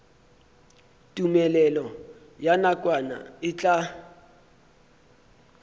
tumelelo ya nakwana e tla